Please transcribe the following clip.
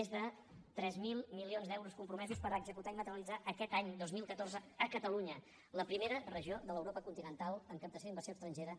més de tres mil milions d’euros compromesos per executar i materialitzar aquest any dos mil catorze a catalunya la primera regió de l’europa continental en captació d’inversió estrangera